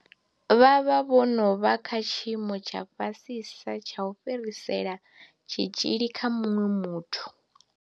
Vha vha vho no vha kha tshiimo tsha fhasisa tsha u fhirisela tshitzhili kha muṅwe muthu.